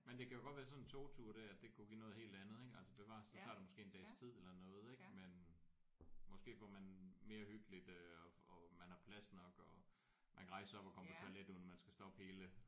Men det kan jo godt være sådan en togtur der det kunne give noget helt andet ik altså bevares så tager det måske en dags tid eller noget ik men måske får man mere hyggeligt øh og man har plads nok og man kan rejse sig op og komme på toilet uden man skal stoppe hele